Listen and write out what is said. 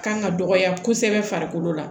Kan ka dɔgɔya kosɛbɛ farikolo la